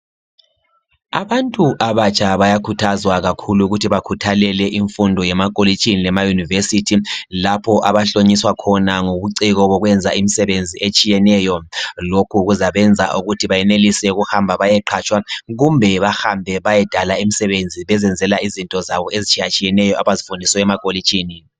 Abantu abatsha bayakhuthazwa kakhulu ukuthi bakhuthalele imfundo yemakolitshini lema- university. Lapho abahlonyiswa khona ngobuciko bokwenza imisebenzi etshiyeneyo. Lokhu kuzabenza ukuthi benelise ukuthi behambe bayeqhatshwa. Kumbe bahambe bayedala imisebenzi. Bezisebenzisela izinto zabo, ezitshiyatshiyeneyo, abazifundiswa emakolitshini